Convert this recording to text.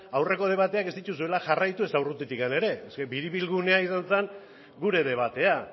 da aurreko debateak ez dituzuela jarraitu ezta urrutitik ere eske biribilgunea izan zen gure debatea